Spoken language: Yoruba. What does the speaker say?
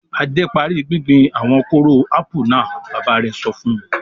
"Adé parí gbíngbin àwọn kóró ápù náà!" Bàbá rẹ̀ sọ fún un.